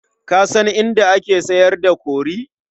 Ka san inda ake sayar da kori?